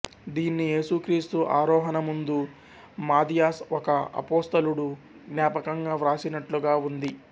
దీన్ని ఏసుక్రీస్తు ఆరోహణముందు మాథియాస్ ఒక అపోస్తలుడు జ్ఞాపకంగా వ్రాసినట్లుగా ఉంది